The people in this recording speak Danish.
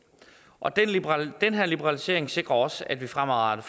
og den her liberalisering sikrer også at vi fremadrettet